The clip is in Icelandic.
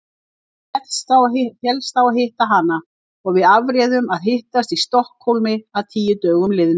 Hann féllst á hana og við afréðum að hittast í Stokkhólmi að tíu dögum liðnum.